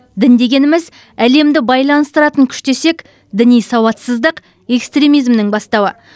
дін дегеніміз әлемді байланыстыратын күш десек діни сауатсыздық экстремизмнің бастауы